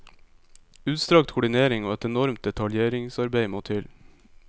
Utstrakt koordinering og et enormt detaljeringsarbeid må til.